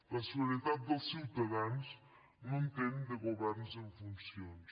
la seguretat dels ciutadans no entén de governs en funcions